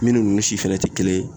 Minnu ni si fɛnɛ te kelen ye